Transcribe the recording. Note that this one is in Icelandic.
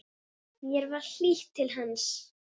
Mér var hlýtt til hans.